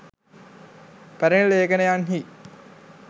පැරැණි ලේඛනයන්හි